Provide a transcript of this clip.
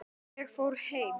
Ég fór heim.